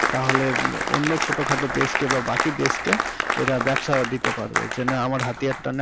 তাহলে অন্য ছোটোখাটো দেশকে বাকি দেশকে এরা ব্যবসা দিতে পারবে যে না আমার হাতিয়ার তা নাও।